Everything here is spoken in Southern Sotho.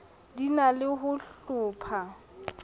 di na le ho hlopha